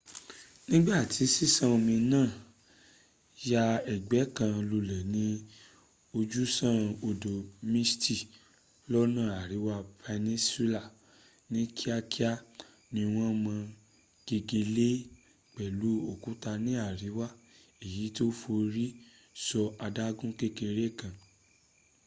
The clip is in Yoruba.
nigbati sisan omi ya egbe kan lule ni ojusan odo mystic lona ariwa peninsula, ni kiakia ni won mo gegele pelu okuta ni ariwa eyiti o fori so adagun kekere kan